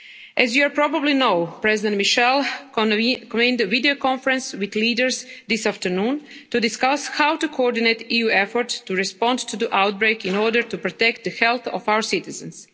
As you probably know, President Michel convened a video conference with leaders this afternoon to discuss how to coordinate EU efforts to respond to the outbreak in order to protect the health of our citizens.